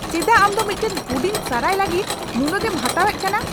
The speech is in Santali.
ᱪᱮᱫᱟᱜ ᱟᱢ ᱫᱚ ᱢᱤᱫᱴᱟᱝ ᱦᱩᱰᱤᱧ ᱥᱟᱨᱟᱭ ᱞᱟᱹᱜᱤᱫ ᱱᱩᱱᱟᱹᱜᱮᱢ ᱦᱟᱛᱟᱣᱮᱫ ᱠᱟᱱᱟ ?